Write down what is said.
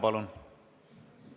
Palun!